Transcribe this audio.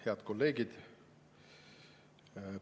Head kolleegid!